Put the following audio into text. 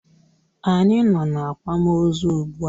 Anyị nọ n'akwamozu ugbua.